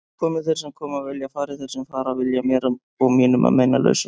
Komi þeir sem koma vilja, fari þeir sem fara vilja, mér og mínum að meinalausu.